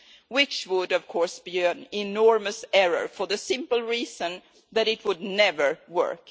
which would of course be an enormous error for the simple reason that it would never work.